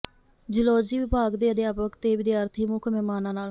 zoology ਵਿਭਾਗ ਦੇ ਅਧਿਆਪਕ ਤੇ ਵਿਦਿਆਰਥੀ ਮੁੱਖ ਮਹਿਮਾਨਾਂ ਨਾਲ